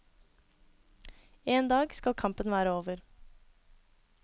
En dag skal kampen være over.